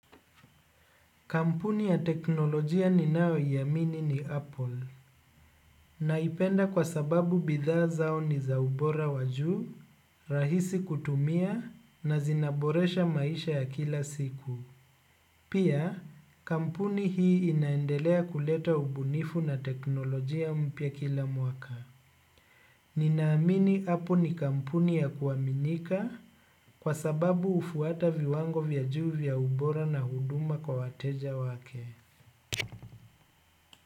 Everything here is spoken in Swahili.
Kampuni ya teknolojia ninaoiamini ni Apple. Naipenda kwa sababu bidhaa zao ni za ubora wa juu, rahisi kutumia na zinaboresha maisha ya kila siku. Pia kampuni hii inaendelea kuleta ubunifu. Ninaamini apple ni kampuni ya kuaminika kwa sababu hufuata viwango vya juu vya ubora na huduma kwa wateja wake.